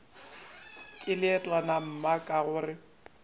ke leetwana mma ka gore